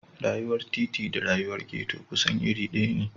Rayuwar titi da rayuwar ghetto kusan iri ɗaya ne.